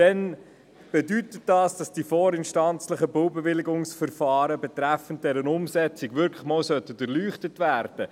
Dann sollte das vorinstanzlichen Baubewilligungsverfahren betreffend die Umsetzung wirklich einmal durchleuchtet werden.